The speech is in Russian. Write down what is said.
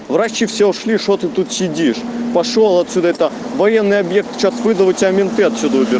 врачи все ушли что ты тут сидишь пошёл отсюда это военный объект сейчас выдача менты отсюда